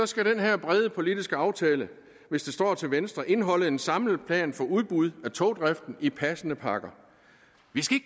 skal den her brede politiske aftale hvis det står til venstre indeholde en samlet plan for udbud af togdriften i passende pakker vi